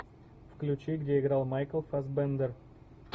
включи где играл майкл фассбендер